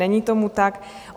Není tomu tak.